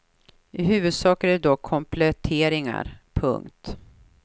I huvudsak är det dock kompletteringar. punkt